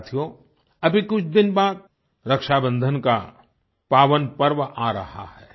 साथियो अभी कुछ दिन बाद रक्षाबंधन का पावन पर्व आ रहा है